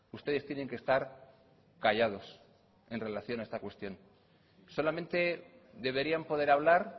ustedes tienen que estar callados en relación a esta cuestión solamente deberían poder hablar